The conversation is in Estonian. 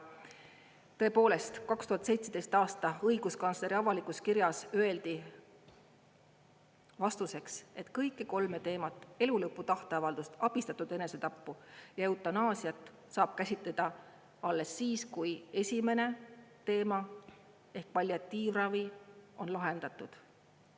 Tõepoolest, 2017. aasta õiguskantsleri avalikus kirjas öeldi vastuseks, et kõiki kolme teemat, elu lõpu tahteavaldust, abistatud enesetappu ja eutanaasiat, saab käsitleda alles siis, kui esimene teema ehk palliatiivravi on lahendatud.